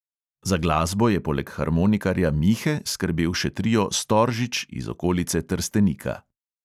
Za glasbo je poleg harmonikarja mihe skrbel še trio "storžič" iz okolice trstenika.